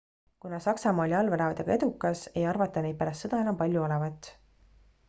kuna saksamaa oli allveelaevadega edukas ei arvata neid pärast sõda enam palju olevat